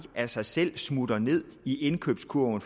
af sig selv smutte ned i indkøbskurven